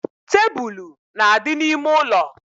Tebulu na-adị n’ime ụlọ